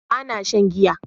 Ba na shan giya